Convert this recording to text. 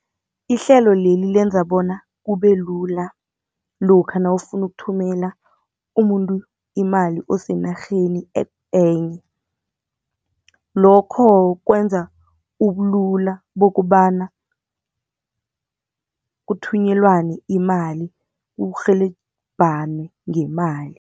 Ihlelo leli lenza bona kube lula lokha nawufuna ukuthumela umuntu imali osenarheni enye. Lokho kwenza ubulula bokobana kuthunyelwane imali kurhelebhanwe ngemali.